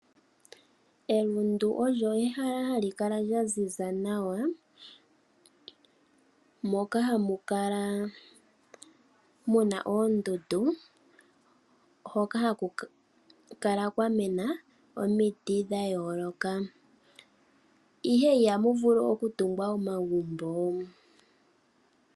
Elundu olyo ehala hali kala lya ziza nawa, moka hamu kala mu na oondundu hoka haku kala kwa mena omiti dha yooloka, ihe ihamu vulu okutungwa omagumbo.